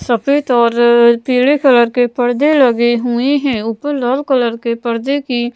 सफेद और पीले कलर के पर्दे लगे हुए हैं ऊपर लाल कलर के पर्दे की--